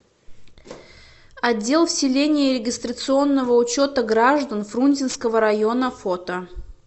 отдел вселения и регистрационного учета граждан фрунзенского района фото